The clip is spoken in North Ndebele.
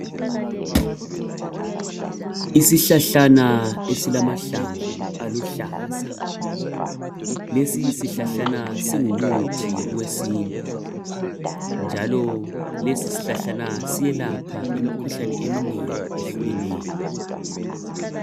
Isihlahlana esilamahlamvu aluhlaza. Lesisihlahlana singumuthi wesintu njalo lesisihlahlana siyelapha imikhuhlane eminengi ehlukeneyo.